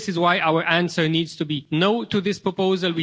This is why our answer needs to be No' to this proposal.